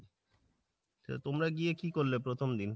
তা তোমরা গিয়ে কী করলে প্রথম দিন ?